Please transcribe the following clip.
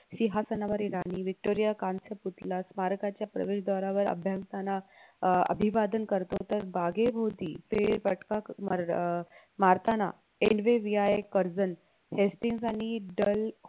सिंहासनावरील राणी व्हिक्टोरिया कांस्य पुतला स्मारकाच्या प्रवेशद्वारावर अभ्यासाना अह अभिवादन करतो तर बागेभोवती फेरफटका मर अह मारताना NVVI कर्जल आणि दल